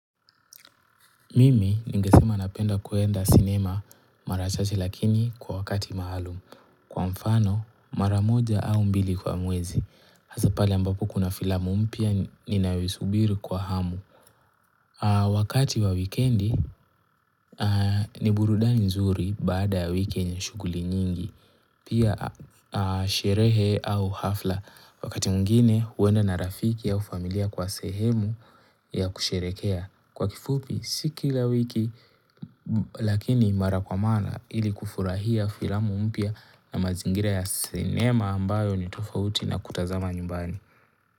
Mimi ningesema napenda kuenda cinema mara chache lakini kwa wakati maalum kwa mfano mara moja au mbili kwa mwezi hasa pale ambapo kuna filamu mpia ninayoisubiri kwa hamu wakati wa wikendi ni burudani nzuri baada wikendi ya shuguli nyingi Pia sherehe au hafla wakati mwingine uenda na rafiki ya ufamilia kwa sehemu ya kusherehekea kwa kifupi siki la wiki lakini mara kwa mana ili kufurahia filamu mpya na mazingira ya sinema ambayo ni tofauti na kutazama nyumbani.